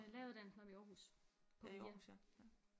Læreruddannelsen oppe i Aarhus på VIA